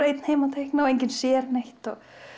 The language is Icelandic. einn heima að teikna og enginn sér neitt